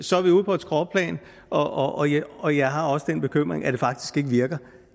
så er vi ude på et skråplan og jeg og jeg har også den bekymring at det faktisk ikke virker